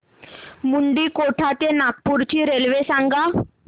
मुंडीकोटा ते नागपूर ची रेल्वे सांगा